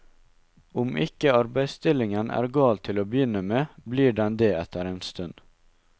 Om ikke arbeidsstillingen er gal til å begynne med, blir den det etter en stund.